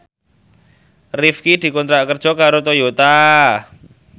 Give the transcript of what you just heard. Rifqi dikontrak kerja karo Toyota